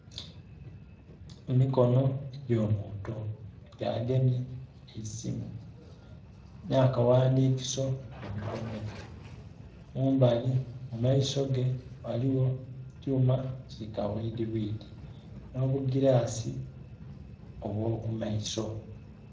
Emikono egy'omuntu nga agemye eisimu na kaghandikiso mu mikono gye. Mumbali mu maiso ge eriyo ekyuma ki kabwidhibwidhi n'obugilasi obwo ku maiso.